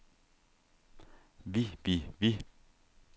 vi vi vi